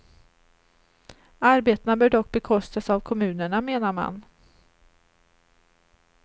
Arbetena bör dock bekostas av kommunerna, menar man.